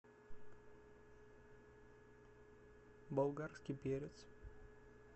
болгарский перец